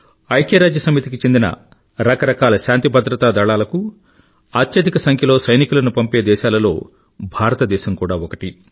ఐక్య రాజ్య సమితికి చెందిన రకరకాల శాంతి భద్రతా దళాలకు అత్యధిక సంఖ్యలో సైనికులను పంపే దేశాలలో భారతదేశం కూడా ఒకటి